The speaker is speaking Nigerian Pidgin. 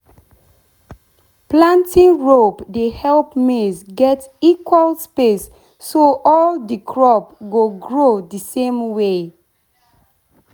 hoe dey useful for removing weed and shaping ridge before you plant.